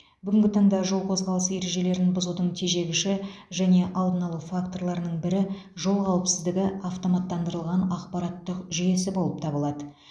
бүгінгі таңда жол қозғалысы ережелерін бұзудың тежегіші және алдын алу факторларының бірі жол қауіпсіздігі автоматтандырылған ақпараттық жүйесі болып табылады